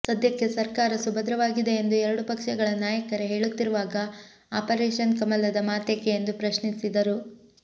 ಸದ್ಯಕ್ಕೆ ಸರ್ಕಾರ ಸುಭದ್ರವಾಗಿದೆ ಎಂದು ಎರಡು ಪಕ್ಷಗಳ ನಾಯಕರೇ ಹೇಳುತ್ತಿರುವಾಗ ಆಪರೇಷನ್ ಕಮಲದ ಮಾತೇಕೆ ಎಂದು ಪ್ರಶ್ನಿಸಿದರು